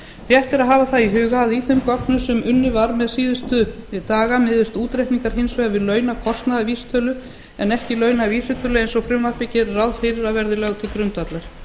rétt er að hafa í huga að í þeim gögnum sem unnið var með síðustu daga miðast útreikningar hins vegar við launakostnaðarvísitölu en ekki launavísitölu eins og frumvarpið gerir ráð fyrir að verði lögð til grundvallar